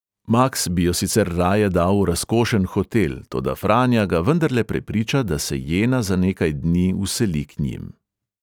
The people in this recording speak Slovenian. Maks bi jo sicer raje dal v razkošen hotel, toda franja ga vendarle prepriča, da se jena za nekaj dni vseli k njim.